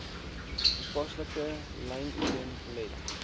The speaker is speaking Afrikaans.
toepaslike lynitems let